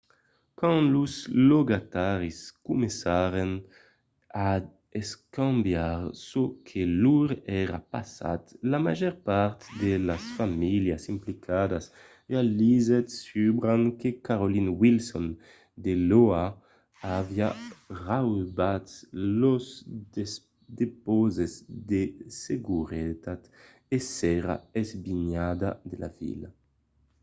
quand los logataris comencèron a escambiar çò que lor èra passat la màger part de las familhas implicadas realizèt subran que carolyn wilson de l’oha aviá raubat lors depauses de seguretat e s'èra esbinhada de la vila